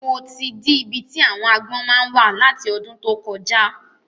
Mo ti dí ibi tí àwon agbọ́n máa ń wà láti ọdún tó kọjá